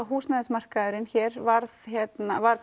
húsnæðismarkaðurinn hérna varð hérna varð